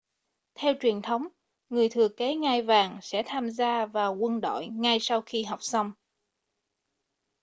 theo truyền thống người thừa kế ngai vàng sẽ tham gia vào quân đội ngay sau khi học xong